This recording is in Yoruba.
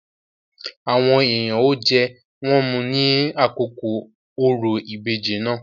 Àwọn èèyàn ó jẹ, wón mu ní àkókò òrò ìbejì náà.